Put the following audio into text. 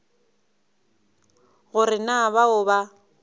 go re na bao ba